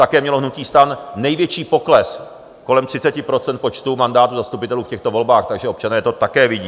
Také mělo hnutí STAN největší pokles, kolem 30 % počtu mandátů zastupitelů v těchto volbách, takže občané to také vidí.